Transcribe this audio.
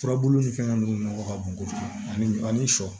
Furabulu ni fɛn ninnu nɔgɔ ka bon kojugu ani sɔ